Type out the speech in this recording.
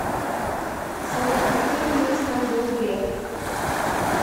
салют каким министром был греф